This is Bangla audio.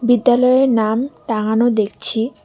বিদ্যালয়ের নাম টাঙানো দেখছি।